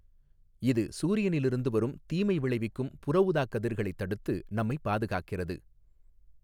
இது சூரியனிலிருந்து வரும் தீமை விளைவிக்கும் புறஊதாக் கதிர்களை தடுத்து நம்மை பாதுகாக்கிறது.